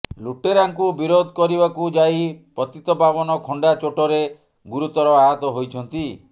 ଲୁଟେରାଙ୍କୁ ବିରୋଧ କରିବାକୁ ଯାଇ ପତିତପାବନ ଖଣ୍ଡା ଚୋଟରେ ଗୁରୁତର ଆହତ ହୋଇଛନ୍ତି